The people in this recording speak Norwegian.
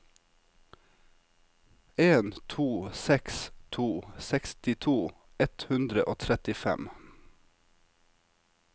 en to seks to sekstito ett hundre og trettifem